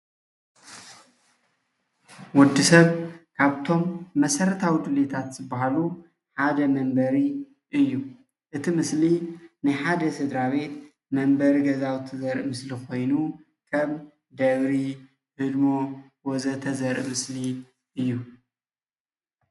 ወዲሰብ ካብቶም መሰረታዊ ድሌታት ዝብሃሉ ሓደ መንበሪ እዩ:: እቲ ምስሊ ናይ ሓደ ስድራቤት መንበሪ ገዛውቲ ዘርኢ ምስሊ ኮይኑ ከም ደብሪ፣ ህድሞ ፣ ወዘተ ዘርኢ ምስሊ እዩ::